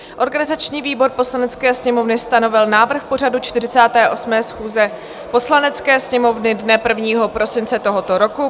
Organizační výbor Poslanecké sněmovny stanovil návrh pořadu 48. schůze Poslanecké sněmovny dne 1. prosince tohoto roku.